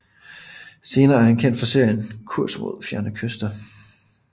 Senere er han kendt for serien Kurs mod fjerne kyster